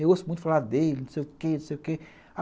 Eu ouço muito falar dele, não sei o quê, não sei o quê.